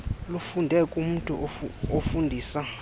lufunde kumntu ofundisa